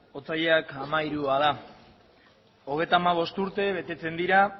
otsailak hamairua da hogeita hamabost urte betetzen dira